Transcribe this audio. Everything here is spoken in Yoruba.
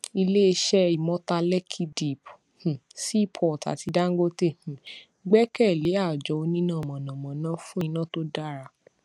ilé iṣẹ imota lekki deep um seaport àti dangote um gbẹkẹlé àjọ oníná mọnàmọná fún iná tó dára